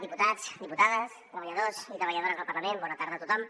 diputats diputades treballadors i treballadores del parla·ment bona tarda a tothom